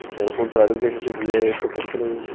O que era o contrário do que a gente vinha tocando por aí, né?